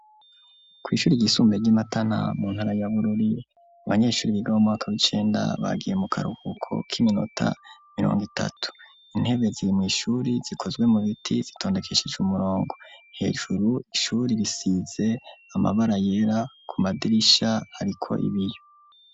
Kwishuri ryisumbuye ry'iMatana, mu ntara ya Bururi, abanyeshure biga mumwaka w'icenda bagiye mukaruhuko k'iminota mirong'itatu, intebe zir mw'ishuri zikozwe mubiti zitondekeshej'umurongo, hejuru ishuri risize amabara yera kumadirisha hariko ibiyo.